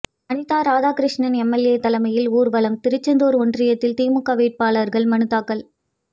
Anitha Radhakrishnan MLA தலைமையில் ஊர்வலம் திருச்செந்தூர் ஒன்றியத்தில் திமுக வேட்பாளர்கள் மனுத்தாக்கல்